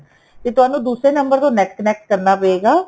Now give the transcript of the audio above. ਤੇ ਤੁਹਾਨੂੰ ਦੂਸਰੇ ਨੰਬਰ ਤੋਂ NET connect ਕਰਨਾ ਪਏਗਾ